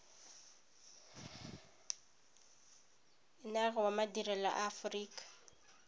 enare wa madirelo a aorika